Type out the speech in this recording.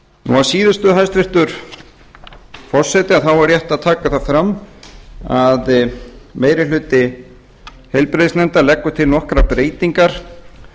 að síðustu hæstvirtur forseti er rétt að taka það fram að meiri hluti heilbrigðis og trygginganefndar leggur til nokkrar breytingar